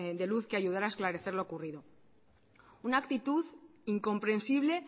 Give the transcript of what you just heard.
de luz que ayudara a esclarecer lo ocurrido una actitud incomprensible